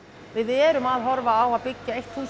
við erum að horfa á að byggja eitt hús í